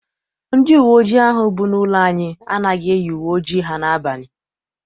Ndị uwe ojii ahụ bụ n'ụlọ anyị anaghị eyi uwe ojii ha n'abalị.